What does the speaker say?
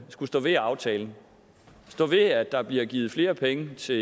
skulle stå ved aftalen og stå ved at der bliver givet flere penge til